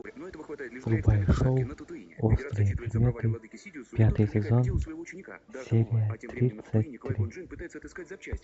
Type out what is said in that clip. врубай шоу острые предметы пятый сезон серия тридцать три